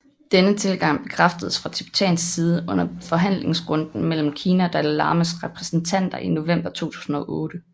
Denne tilgang bekræftedes fra tibetansk side under forhandlingsrunden mellem Kina og Dalai Lamas repræsentanter i november 2008